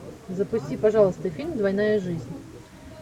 запусти пожалуйста фильм двойная жизнь